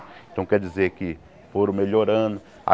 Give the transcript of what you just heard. Então quer dizer que foram melhorando.